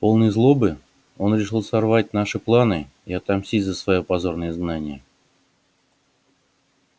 полный злобы он решил сорвать наши планы и отомстить за своё позорное изгнание